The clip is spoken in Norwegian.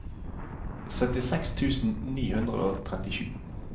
syttiseks tusen ni hundre og trettisju